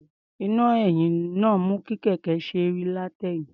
Iná-ẹ̀yìn mú kí kẹ̀kẹ́ náà ó ṣe é rí látẹ̀yìn.